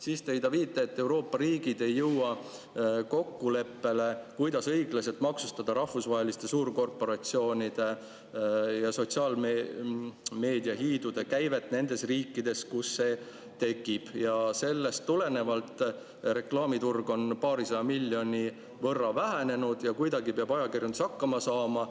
Siis tõi ta viite, et Euroopa riigid ei jõua kokkuleppele, kuidas õiglaselt maksustada rahvusvaheliste suurkorporatsioonide ja sotsiaalmeediahiidude käivet nendes riikides, kus see tekib, ja sellest tulenevalt reklaamiturg on paarisaja miljoni võrra vähenenud ja kuidagi peab ajakirjandus hakkama saama.